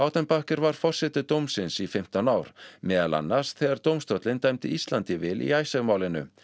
baudenbacher var forseti dómsins í fimmtán ár meðal annars þegar dómstólinn dæmdi Íslandi í vil í Icesave málinu